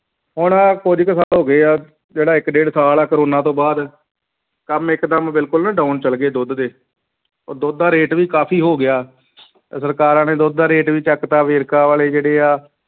ਹੁਣ ਕੁੱਝ ਕੁ ਸਾਲ ਹੋ ਗਏ ਆ, ਜਿਹੜਾ ਇੱਕ ਡੇਢ ਸਾਲ ਹੈ ਕੋਰੋਨਾ ਤੋਂ ਬਾਅਦ, ਕੰਮ ਇੱਕਦਮ ਬਿਲਕੁਲ down ਚੱਲ ਗਏ ਦੁੱਧ ਦੇ, ਉਹ ਦੁੱਧ ਦਾ rate ਵੀ ਕਾਫ਼ੀ ਹੋ ਗਿਆ ਸਰਕਾਰਾਂ ਨੇ ਦੁੱਧ ਦਾ rate ਵੀ ਚੁੱਕ ਦਿੱਤਾ ਵੇਰਕੇ ਵਾਲੇ ਜਿਹੜੇ ਆ,